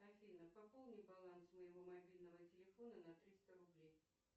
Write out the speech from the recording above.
афина пополни баланс моего мобильного телефона на триста рублей